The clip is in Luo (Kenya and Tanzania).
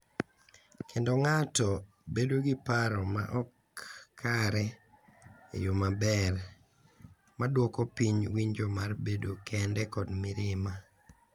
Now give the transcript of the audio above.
Kendo ng’ato bedo gi paro ma ok kare e yo maber, ma dwoko piny winjo mar bedo kende kod mirima.